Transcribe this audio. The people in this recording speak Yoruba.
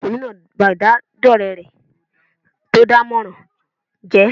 Ọmọkùnrin náà ba ìbádọ́ọ̀rẹ́ rẹ̀ tó dánmọrán jẹ́